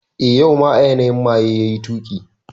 Eh, yau ma a yanayi maye yayi tuki